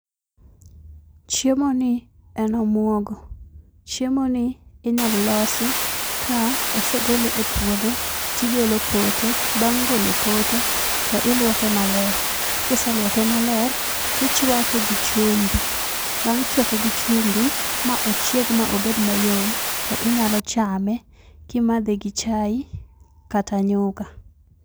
Chiemo ni en omuogo. Chiemo ni inyal losi ka osegole e puodho tigolo pote. Bang' golo pote tiluoke maler, kise luoke maler tichwake gi chumbi bang' chwake gi chumbi ma ochieg ma obed mayom to inyalo chame kimadhe gi chai kata nyuka.